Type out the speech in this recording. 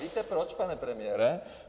Víte proč, pane premiére?